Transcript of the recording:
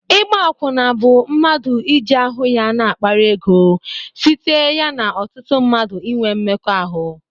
Ịgba akwụna bụ mmadụ iji ahụ ya na-akpara ego site ya na ọtụtụ mmadụ inwe mmekọ ahụ.